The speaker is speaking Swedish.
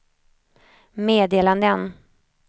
meddelanden